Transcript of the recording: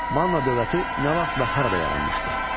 Manna dövləti nə vaxt və harada yaranmışdı?